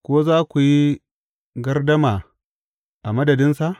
Ko za ku yi gardama a madadinsa?